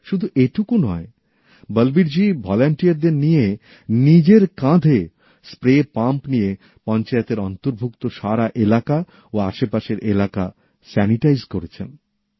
শুধু এটুকু নয় বলবীরজী ভলেন্টিয়ারদের নিয়ে নিজের কাঁধে স্প্রে পাম্প নিয়ে পঞ্চায়েতের অন্তর্ভুক্ত পুরো এলাকা ও আসেপাশের এলাকা জীবাণুমুক্ত করেছেন